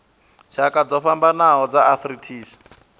tshakha dzo fhambanaho dza arthritis